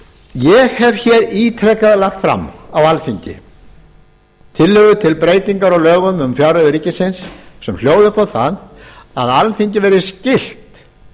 ég hef ítrekað lagt fram á alþingi tillögur til breytinga á lögum um fjárreiður ríkisins sem hljóða upp á það að alþingi verði skylt